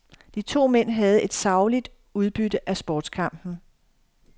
De to mænd havde et sagligt udbytte af sportskampen.